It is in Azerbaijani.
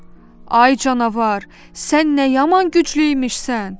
Ay canavar, sən nə yaman güclü imişsən?